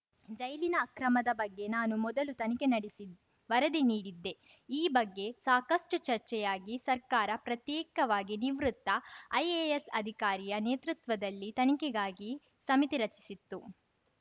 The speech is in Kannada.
ಜೈಲಿನ ಅಕ್ರಮದ ಬಗ್ಗೆ ನಾನು ಮೊದಲು ತನಿಖೆ ನಡೆಸಿ ವರದಿ ನೀಡಿದ್ದೆ ಈ ಬಗ್ಗೆ ಸಾಕಷ್ಟುಚರ್ಚೆಯಾಗಿ ಸರ್ಕಾರ ಪ್ರತ್ಯೇಕವಾಗಿ ನಿವೃತ್ತ ಐಎಎಸ್‌ ಅಧಿಕಾರಿಯ ನೇತೃತ್ವದಲ್ಲಿ ತನಿಖೆಗಾಗಿ ಸಮಿತಿ ರಚಿಸಿತ್ತು